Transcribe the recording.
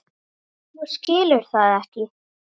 Þú skilur það ekki.